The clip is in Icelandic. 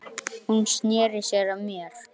Hún sneri sér að mér.